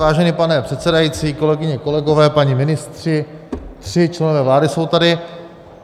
Vážený pane předsedající, kolegyně, kolegové, páni ministři, tři členové vlády jsou tady.